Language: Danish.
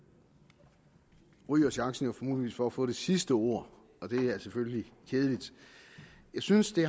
ryger chancen muligvis for at få det sidste ord og det er selvfølgelig kedeligt jeg synes det